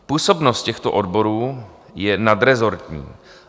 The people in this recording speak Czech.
Působnost těchto odborů je nadrezortní.